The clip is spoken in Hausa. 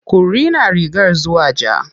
Ku rina rigar zuwa ja.